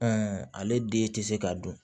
ale den tɛ se ka dun